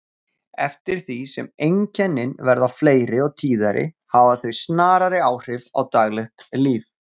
Eftir því sem einkennin verða fleiri og tíðari hafa þau snarari áhrif á daglegt líf.